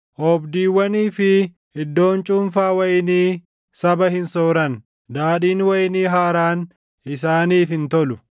Oobdiiwwanii fi iddoon cuunfaa wayinii saba hin sooran; daadhiin wayinii haaraan isaaniif hin tolu.